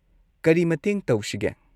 ꯀꯔꯤ ꯃꯇꯦꯡ ꯇꯧꯁꯤꯒꯦ?